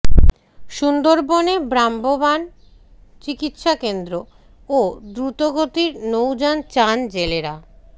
সুন্দরবনে ভ্রাম্যমাণ চিকিৎসা কেন্দ্র ও দ্রুতগতির নৌযান চান জেলেরা